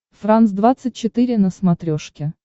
франс двадцать четыре на смотрешке